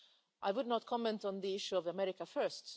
I do not want to comment on the issue of America First'.